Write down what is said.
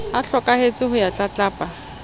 a hlokahetse ho ya tlatlapa